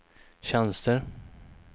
tjänster